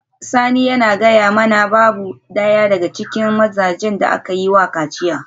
Sani yana gaya mana babu daya daga cikin mazajen da aka yi wa kaciya